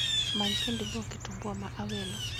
Many kendo iluong kitumbua ma awelo